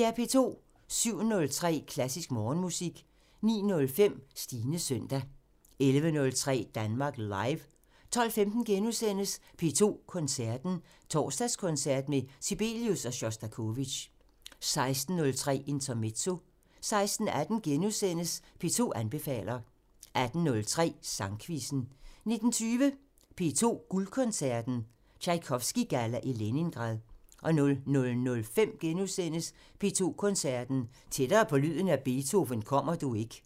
07:03: Klassisk Morgenmusik 09:05: Stines søndag 11:03: Danmark Live 12:15: P2 Koncerten – Torsdagskoncert med Sibelius og Sjostakovitjj * 16:03: Intermezzo 16:18: P2 anbefaler * 18:03: Sangquizzen 19:20: P2 Guldkoncerten – Tjajkovskij-galla i Leningrad 00:05: P2 Koncerten – Tættere på lyden af Beethoven kommer du ikke! *